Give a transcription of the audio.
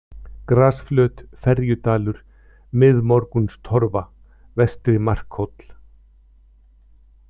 Grasflöt, Ferjudalur, Miðmorgunstorfa, Vestri-Markhóll